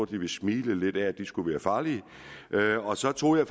de vil smile lidt af at de skulle være farlige så tog jeg